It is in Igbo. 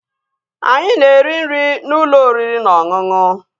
Anyị na-eri nri n'ụlọ oriri na ọṅụṅụ